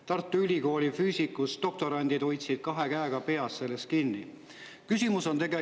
Tartu Ülikooli füüsikadoktorandid hoidsid kahe käega peast kinni selle pärast.